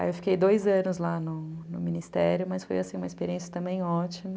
Aí eu fiquei dois anos lá no Ministério, mas foi uma experiência também ótima.